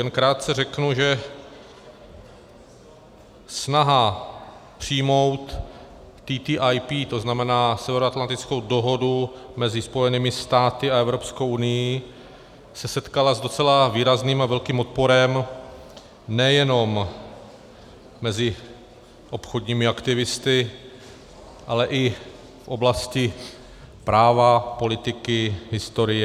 Jen krátce řeknu, že snaha přijmout TTIP, to znamená Severoatlantickou dohodu mezi Spojenými státy a Evropskou unií, se setkala s docela výrazným a velkým odporem nejenom mezi obchodními aktivisty, ale i v oblasti práva, politiky, historie...